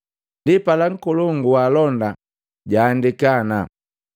Ndipala nkolongu waalonda jahaandika ana: